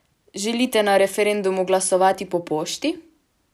Želite na referendumu glasovati po pošti?